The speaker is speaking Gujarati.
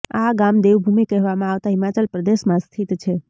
આ ગામ દેવભૂમિ કહેવામાં આવતા હિમાચલ પ્રદેશમાં સ્થિત છે